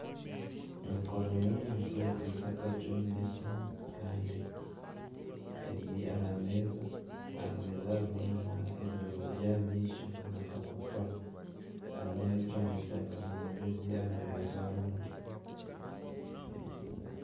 Emikono y'omuntu ekwitse akacumu n'esimu kandi ebiri aha meeza. Aha meeza hariho nana ebirahure by'amaisho na akapapura. Hariho n'ekyooma kya karimagezi aha rubaju orundi.